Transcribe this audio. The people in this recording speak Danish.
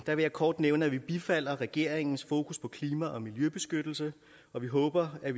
vil jeg kort nævne at vi bifalder regeringens fokus på klima og miljøbeskyttelse og vi håber at